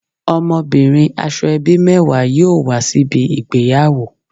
Omobirin Asoebi mewa yoo wa sibi igbeyawo